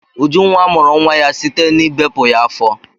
Ujunwa mụrụ nwa ya site n'ibepu ya afọ.